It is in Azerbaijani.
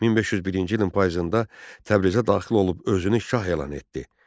1501-ci ilin payızında Təbrizə daxil olub özünü şah elan etdi.